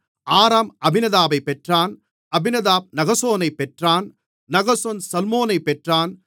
ஆராம் அம்மினதாபைப் பெற்றான் அம்மினதாப் நகசோனைப் பெற்றான் நகசோன் சல்மோனைப் பெற்றான்